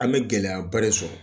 An bɛ gɛlɛyaba de sɔrɔ